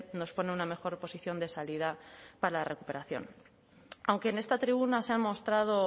nos pone una mejor posición de salida para la recuperación aunque en esta tribuna se han mostrado